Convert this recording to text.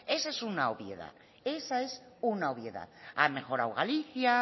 esa es una obviedad ha mejorado galicia